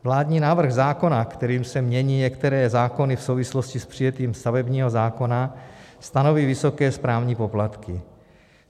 Vládní návrh zákona, kterým se mění některé zákony v souvislosti s přijetím stavebního zákona, stanoví vysoké správní poplatky.